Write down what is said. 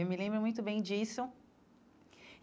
Eu me lembro muito bem disso.